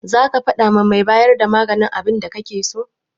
Zaka faɗawa mai bayar da maganin abinda kake so?